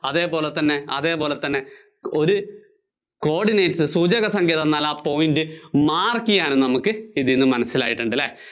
അതേപോലെതന്നെ, അതേപോലെതന്നെ ഒരു coordinate ഒരു സൂചകസംഖ്യ തന്നാല്‍ ആ pointmark ചെയ്യാന്‍ നമുക്ക് ഇതില്‍ നിന്ന് മനസ്സിലായിട്ടുണ്ടല്ലേ?